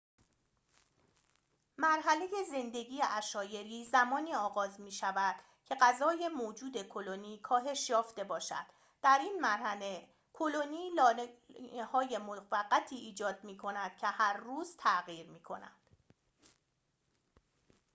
مرحله زندگی عشایری زمانی آغاز می‌شود که غذای موجود کلونی کاهش یافته باشد در این مرحله کلونی لانه‌های موقتی ایجاد می‌کند که هر روز تغییر می‌کنند